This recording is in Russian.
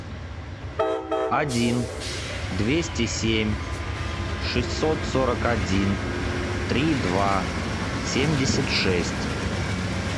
один двести семь шестьсот сорок один три два семьдесят шесть